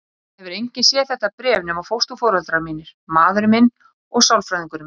Það hefur enginn séð þetta bréf nema fósturforeldrar mínir, maðurinn minn og sálfræðingurinn minn.